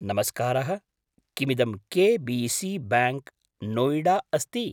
नमस्कारः, किमिदं KBC bank, Noida अस्ति?